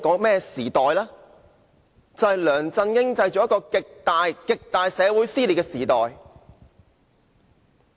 便是梁振英製造出極大、極大的社會撕裂的時代。